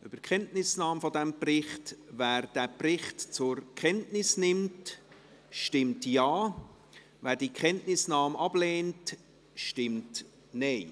Wer diesen Bericht zur Kenntnis nimmt, stimmt Ja, wer die Kenntnisnahme ablehnt, stimmt Nein.